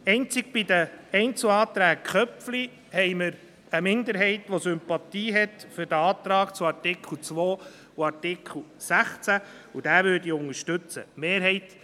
Einzig bei den Einzelanträgen Köpfli gibt es eine Minderheit, welche Sympathien hat für die Anträge zu Artikel 2 und Artikel 16 und diese unterstützen wird.